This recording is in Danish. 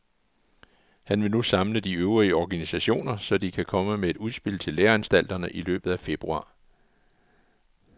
Han vil nu samle de øvrige organisationer, så de kan komme med et udspil til læreanstalterne i løbet af februar.